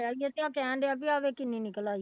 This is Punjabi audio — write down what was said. ਤੇ ਕਹਿਣ ਡਿਆ ਵੀ ਆਹ ਵੇਖ ਕਿੰਨੀ ਨਿਕਲ ਆਈ